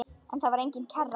En þar var engin kerra.